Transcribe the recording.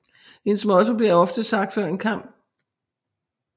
Hendes motto bliver ofte sagt før en kamp